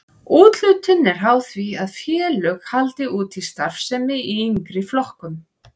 Úthlutun er háð því að félög haldi úti starfsemi í yngri flokkum.